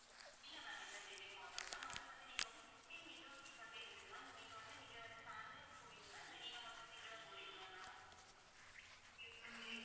இல்லை ma'am எந்த delay யும் ஆகாது ma'am அதைப் பத்தி, நீங்க வந்து sixteen windows seat வந்து இருக்குது ma'am உங்களுக்கு வந்து நீங்க வந்து family ஆ போறீங்களா இல்லை, நீங்க மட்டும் single ஆ போறீங்களா ma'am